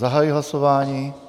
Zahajuji hlasování.